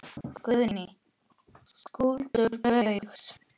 Guðný: Skuldir Baugs?